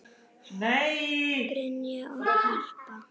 Brynja og Harpa.